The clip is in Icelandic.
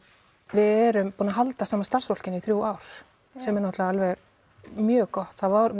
við erum búin að halda sama starfsfólkinu í þrjú ár sem er náttúrulega mjög gott það var